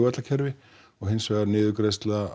kerfi og hins vegar niðurgreiðsla